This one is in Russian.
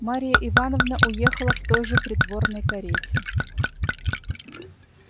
марья ивановна уехала в той же придворной карете